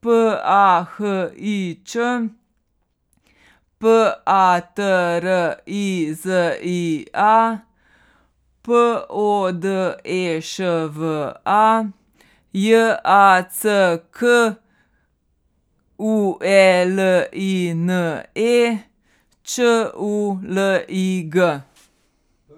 P A H I Č; P A T R I Z I A, P O D E Š V A; J A C K U E L I N E, Č U L I G.